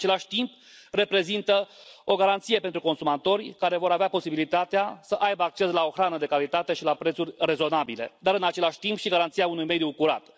În același timp, reprezintă o garanție pentru consumatori, care vor avea posibilitatea să aibă acces la o hrană de calitate și la prețuri rezonabile, dar, în același timp, și garanția unui mediu curat.